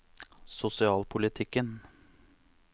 sosialpolitikken